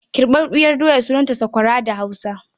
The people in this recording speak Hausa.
Kirɓaɓɓiyar doya sunanta sakwara da Hausa.